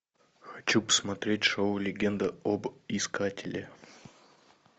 хочу посмотреть шоу легенда об искателе